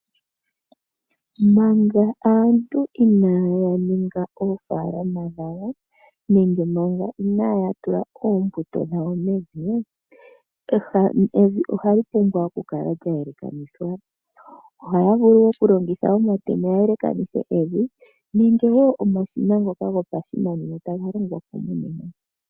Manga aantu ina ya ninga oofalama dhawo nenge manga ina ya tula oombuto dhawo mevi, evi oha li pumbwa okukala lya yelekanithwa ohaya vulu okulongitha omatemo ya yelekanithe evi nenge omashina wo ngoka gopashinanena taga longwapo monena.